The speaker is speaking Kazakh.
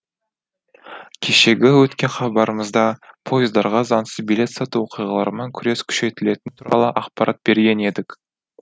кешегі өткен хабарымызда пойыздарға заңсыз билет сату оқиғалармен күрес күшейтілетіні туралы ақпарат берген едік